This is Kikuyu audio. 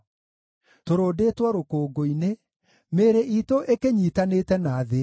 Tũrũndĩtwo rũkũngũ-inĩ; mĩĩrĩ iitũ ĩkĩnyiitanĩte na thĩ.